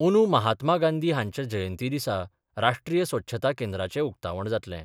अंदू महात्मा गांधी हांच्या जयंतीदिसा राष्ट्रीय स्वच्छता केंद्राचे उक्तावण जातलें.